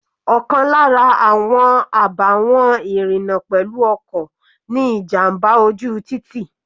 Ọ̀kan lára àwọn àbàwọ́n ìrìna pẹ̀lú ọkọ̀ ni ìjàmbá ojú títì.